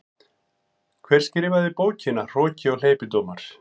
Hver skrifaði bókina Hroki og hleypidómar?